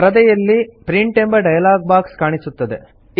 ಪರದೆಯಲ್ಲಿ ಪ್ರಿಂಟ್ ಎಂಬ dialog box ಕಾಣಿಸುತ್ತದೆ